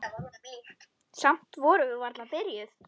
Samt erum við varla byrjuð.